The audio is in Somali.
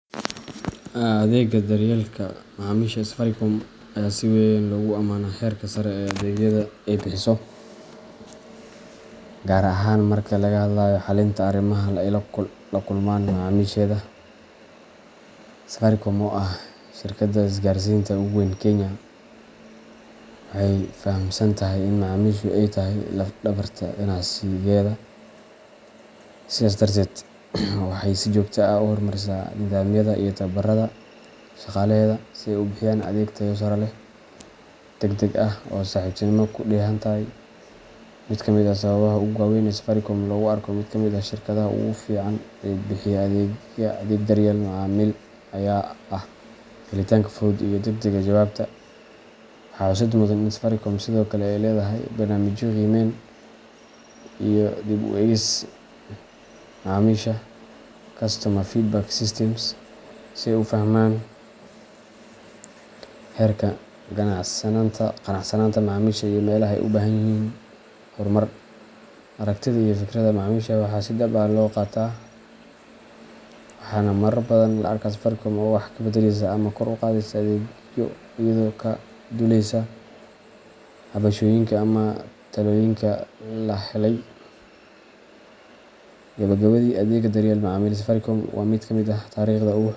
Adeegga daryeelka macaamiisha ee Safaricom ayaa si weyn loogu amaanaa heerka sare ee adeegyada ay bixiso, gaar ahaan marka laga hadlayo xallinta arrimaha ay la kulmaan macaamiisheeda. Safaricom, oo ah shirkadda isgaarsiinta ugu weyn Kenya, waxay fahamsan tahay in macaamiishu ay yihiin laf-dhabarta ganacsigeeda, sidaas darteed waxay si joogto ah u horumarisaa nidaamyada iyo tababarada shaqaalaheeda si ay u bixiyaan adeeg tayo sare leh, degdeg ah, oo saaxiibtinimo ku dheehan tahay. Mid ka mid ah sababaha ugu waaweyn ee Safaricom loogu arko mid ka mid ah shirkadaha ugu fiican ee bixiya adeeg daryeel macaamiil ayaa ah helitaanka fudud iyo degdegga jawaabta. Waxaa xusid mudan in Safaricom sidoo kale ay leedahay barnaamijyo qiimeyn iyo dib u eegis macaamiisha customer feedback systems si ay u fahmaan heerka qanacsanaanta macaamiisha iyo meelaha ay u baahan yihiin horumar. Aragtida iyo fikradaha macaamiisha waxaa si dhab ah loo qaataa, waxaana marar badan la arkaa Safaricom oo wax ka beddeleysa ama kor u qaadaysa adeegyo iyadoo ka duuleysa cabashooyinka ama talooyinka la helay. Gabagabadii, adeegga daryeelka macaamiisha ee Safaricom waa mid ka mid ah tiirarka.